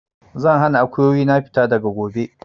Zan hana Akuyoyi na fita daga gobe!